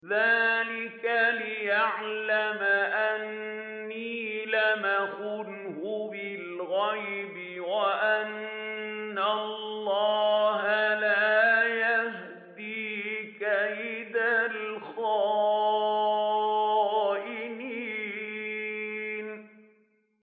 ذَٰلِكَ لِيَعْلَمَ أَنِّي لَمْ أَخُنْهُ بِالْغَيْبِ وَأَنَّ اللَّهَ لَا يَهْدِي كَيْدَ الْخَائِنِينَ